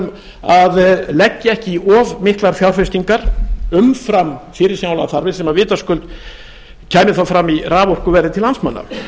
fyrirmælum að leggja ekki í of miklar fjárfestingar umfram fyrirsjánlegar þarfir sem vitaskuld kæmi þá fram í raforkuverði til landsmanna